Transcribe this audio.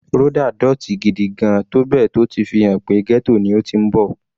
Rhoda dótì gigigan tó bẹ́ẹ̀ tó ti fi hàn pé ghetto ni ó ti ń bọ̀.